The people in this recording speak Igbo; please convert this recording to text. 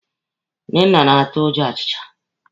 Nnenna na-atụ ụjọ ọchịcha.